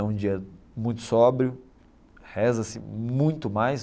É um dia muito sóbrio, reza-se muito mais.